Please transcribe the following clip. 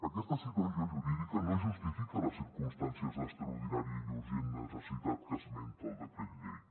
aquesta situació jurídica no justifica les circumstàncies d’extraordinària i urgent necessitat que esmenta el decret llei